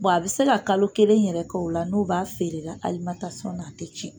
a bɛ se ka kalo kelen yɛrɛ kɛ o la n'o b'a feere ra na a tɛ cɛn.